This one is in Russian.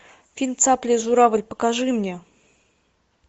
фильм цапля и журавль покажи мне